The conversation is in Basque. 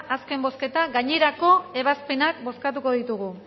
azken bozketan gainerako ebazpenak bozkatuko ditugu